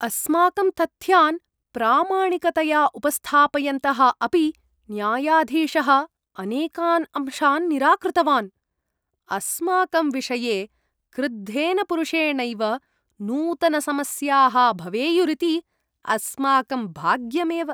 अस्माकं तथ्यान् प्रामाणिकतया उपस्थापयन्तः अपि न्यायाधीशः अनेकान् अंशान् निराकृतवान्। अस्माकं विषये क्रुद्धेन पुरुषेणैव नूतनसमस्याः भवेयुरिति अस्माकं भाग्यमेव!